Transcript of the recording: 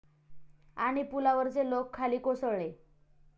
...आणि पुलावरचे लोक खाली कोसळले